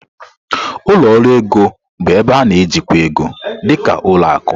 Ụlọ ọrụ ego bụ ebe na-ejikwa ego, dị ka ụlọ akụ.